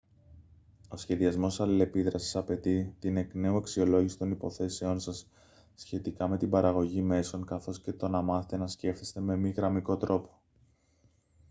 ο σχεδιασμός αλληλεπίδρασης απαιτεί την εκ νέου αξιολόγηση των υποθέσεων σας σχετικά με την παραγωγή μέσων καθώς και το να μάθετε να σκέφτεστε με μη γραμμικό τρόπο